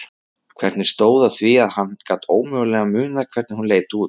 Hvernig stóð á því að hann gat ómögulega munað hvernig hún leit út?